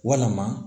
Walama